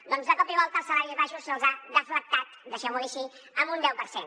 doncs de cop i volta els salaris baixos se’ls ha deflactat deixeu m’ho dir així en un deu per cent